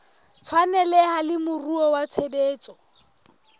tshwaneleha le moruo wa tshebetso